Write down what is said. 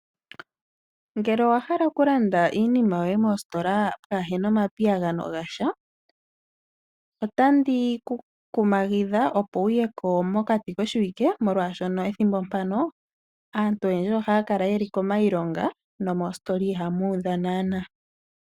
Ngele owahala okulanda iinima yoye mositola kaapena omapiyagano gasha otandi ku kumagidha opo wuye ko mokati koshiwike, molwaashoka pethimbo mpano aantu oyendji ohaya kala yeli kiilonga nomoositola ihamu udha naana.